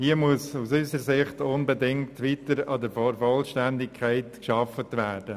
Hier muss aus unserer Sicht unbedingt weiter an der Vollständigkeit gearbeitet werden.